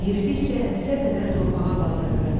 Yeridikcə dizə qədər torpağa batırdı.